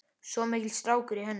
Svo mikill strákur í henni.